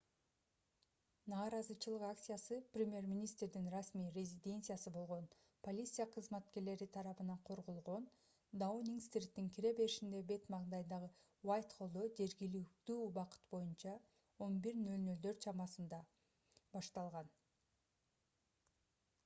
нааразычылык акциясы премьер-министрдин расмий резиденциясы болгон полиция кызматкерлери тарабынан корголгон даунинг-стриттин кире беришинин бет маңдайындагы уайтхоллдо жергиликтүү убакыт боюнча 11:00 чамасында utc + 1 башталган